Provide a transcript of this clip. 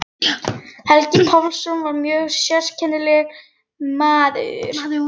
Helgi Pálsson var mjög sérkennilegur maður.